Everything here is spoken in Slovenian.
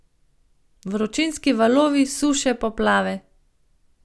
Vročinski valovi, suše, poplave ...